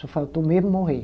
Só faltou mesmo morrer.